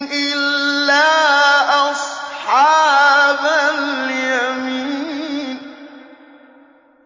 إِلَّا أَصْحَابَ الْيَمِينِ